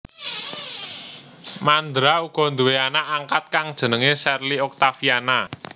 Mandra uga nduwé anak angkat kang jenengé Sherly Oktaviana